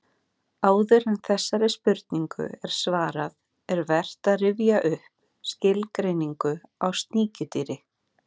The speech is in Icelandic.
Áður en þessari spurningu er svarað er vert að rifja upp skilgreiningu á sníkjudýri.